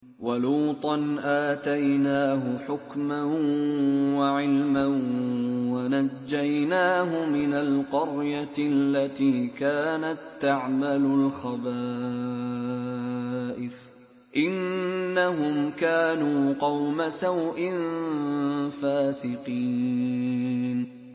وَلُوطًا آتَيْنَاهُ حُكْمًا وَعِلْمًا وَنَجَّيْنَاهُ مِنَ الْقَرْيَةِ الَّتِي كَانَت تَّعْمَلُ الْخَبَائِثَ ۗ إِنَّهُمْ كَانُوا قَوْمَ سَوْءٍ فَاسِقِينَ